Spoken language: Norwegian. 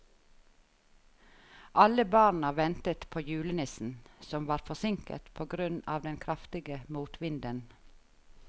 Alle barna ventet på julenissen, som var forsinket på grunn av den kraftige motvinden.